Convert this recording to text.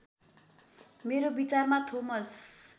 मेरो विचारमा थोमस